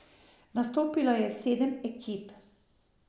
Nastopilo je sedem ekip.